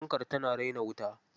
Fankar tana raina wuta.